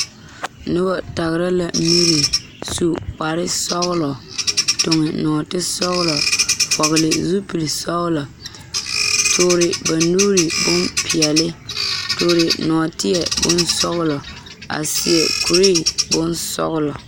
Noba tagere la miri su kpar sɔgelɔ tuŋi nɔɔte sɔgelɔ vɔgele zupili sɔgelɔ toore ba nuure bompeɛle toore nɔɔte bonsɔgelɔ a seɛ kure bonsɔglɔ